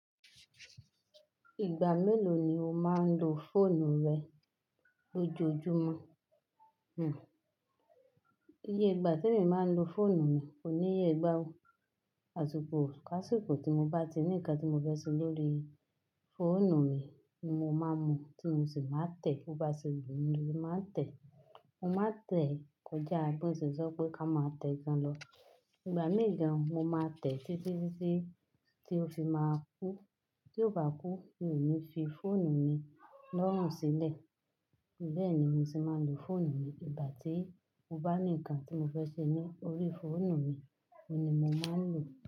Ìgbà mélòó ni o máa ń lo fóònù rẹ lójoojúmọ́? Hmm. Iye ìgbà te mi máa ń lo fóònù mi kò níye gbá o. Àsiko ká síkò tí mo bá ti ní nnkan tí mo fẹ́ ṣe lórí fóònù mi ni mo máa n mu, tí mo sì máa n tẹ̀. Bo bá ṣe wumi ni mo máa ń tẹ̀. Mo máa tẹ̀ kọjá bon se sọ pé ká máa tẹ gan lọ. Ìgbà mii gan mo máa tẹ̀ títí tí ó fi máa kú. Tí ó bá kú mi fi fóònù mi lọ́rùn sílẹ̀. Bẹ́ẹ̀ ni mo se máa ń lo fóònù mi. Ìgbà tí mo bá ní nǹkan tí mo fẹ́ ṣe ní orí fóònù mi ni mo máa ń lò ó.